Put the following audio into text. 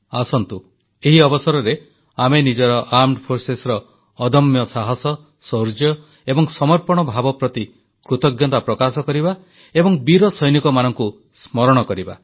ଆସନ୍ତୁ ଏହି ଅବସରରେ ଆମେ ଆମ ସଶସ୍ତ୍ର ସେନାର ଅଦମ୍ୟ ସାହସ ଶୌର୍ଯ୍ୟ ଏବଂ ସମର୍ପଣ ଭାବ ପ୍ରତି କୃତଜ୍ଞତା ପ୍ରକାଶ କରିବା ଏବଂ ବୀର ସୈନିକମାନଙ୍କୁ ସ୍ମରଣ କରିବା